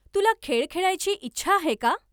तुला खेळ खेळायची इच्छा आहे का?